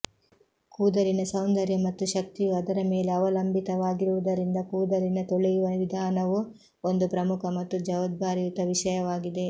ಕೂದಲಿನ ಸೌಂದರ್ಯ ಮತ್ತು ಶಕ್ತಿಯು ಅದರ ಮೇಲೆ ಅವಲಂಬಿತವಾಗಿರುವುದರಿಂದ ಕೂದಲಿನ ತೊಳೆಯುವ ವಿಧಾನವು ಒಂದು ಪ್ರಮುಖ ಮತ್ತು ಜವಾಬ್ದಾರಿಯುತ ವಿಷಯವಾಗಿದೆ